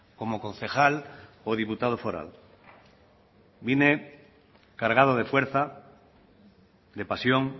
como concejal o diputado foral vine cargado de fuerza de pasión